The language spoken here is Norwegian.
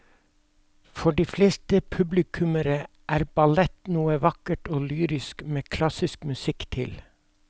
For de fleste publikummere er ballett noe vakkert og lyrisk med klassisk musikk til.